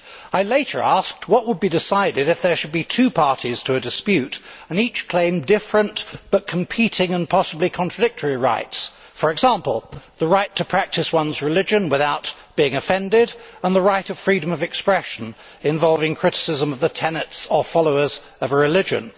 I later asked what would be decided if there should be two parties to a dispute and each claimed different but competing, and possibly contradictory, rights for example, the right to practise one's religion without being offended and the right of freedom of expression involving criticism of the tenets of followers of a religion.